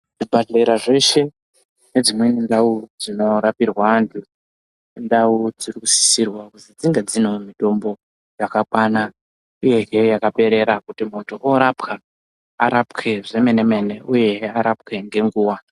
Zvibhedhlera zveshe nedzimweni ndau nedzimweni ndau ndinorapirwa antu indau dziri kusisirwa kuti dzingewo dziine mitombo yakakwana uye hee yakaperera kuti muntu orapwa arapwe zvemenemene uye arapwe ngenguva.